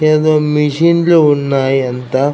ఏదో మెషిన్ లు ఉన్నాయి అంత --